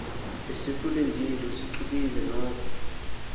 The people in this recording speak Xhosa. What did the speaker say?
besikulindile usiqubule noko